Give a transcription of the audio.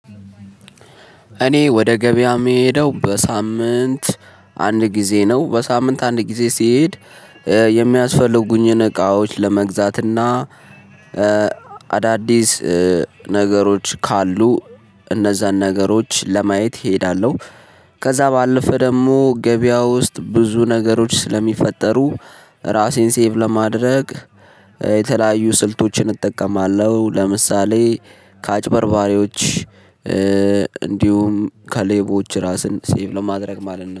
እኔ ወደ ገበያ የምሄደው በሳምንት አንድ ጊዜ ነው በሳምንት አንድ ጊዜ ሲሄድ የሚያስፈልጉኝን እቃዎች ለመግዛትና አዳዲስ ነገሮች ካሉ እነዛን ነገሮች ለማየት እሄዳለሁ። ከዛ ባለፈ ደግሞ ገበያ ውስጥ ብዙ ነገሮች ስለሚፈጠሩ ራሴን ሴቭ ለማድረግ የተለያዩ ስልቶችን እጠቀማለሁ። ለምሳሌ ከአጭበርባሪዎች እንዲሁም ከሌቦች ራስን ሴቭ ለማድረግ ማለት ነው